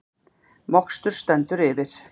Mokstur stendur yfir